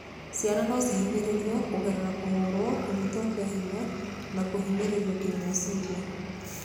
Ciana no cinyihĩrĩrio kũgerera kũhũrwo, kũnyitwo kĩa hinya na kũhinyĩrĩrio kĩmeciria.